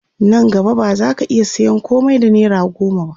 Nan gaba ba zaka iya sayan komai da naira goma ba